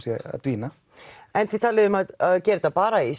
sé að dvína en þið talið um að gera þetta bara í